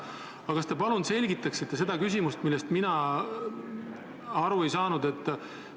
Aga kas te palun selgitaksite seda küsimust, millest mina aru ei saanud?